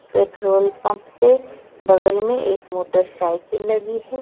Petrol pump पे बगल में एक मोटरसाइकिल लगी है।